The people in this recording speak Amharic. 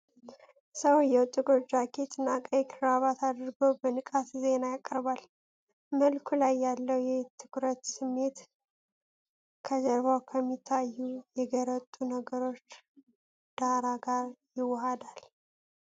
ሰውየው ጥቁር ጃኬት እና ቀይ ክራባት አድርጎ በንቃት ዜና ያቀርባል። መልኩ ላይ ያለው የትኩረት ስሜት ከጀርባው ከሚታዩ የገረጡ ነገሮች ዳራ ጋር ይዋሃዳል።